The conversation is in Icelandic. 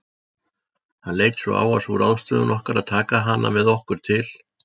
Hann leit svo á að sú ráðstöfun okkar að taka hana með okkur til